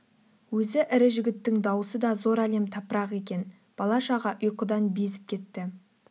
өзі ірі жігіттің даусы да зор әлем тапырақ екен бала-шаға ұйқыдан безіп кетті